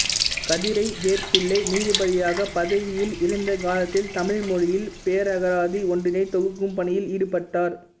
கதிரைவேற்பிள்ளை நீதிபதியாகப் பதவியில் இருந்த காலத்தில் தமிழ் மொழியில் பேரகராதி ஒன்றினைத் தொகுக்கும் பணியில் ஈடுபட்டார்